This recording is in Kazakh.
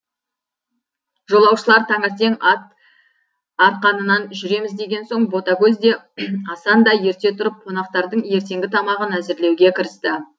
жолаушылар таңертең ат арқанынан жүреміз деген соң ботагөз де асан да ерте тұрып қонақтардың ертеңгі тамағын әзірлеуге кірісті